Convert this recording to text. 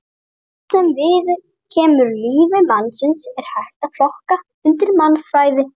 Allt sem viðkemur lífi mannsins er hægt að flokka undir mannfræði.